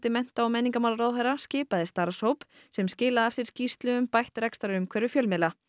mennta og menningarmálaráðherra skipaði starfshóp sem skilaði af sér skýrslu um bætt rekstrarumhverfi fjölmiðla